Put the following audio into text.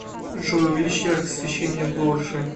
джой увеличь яркость освещения в лоджии